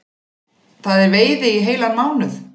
Það er veiði í heilan mánuð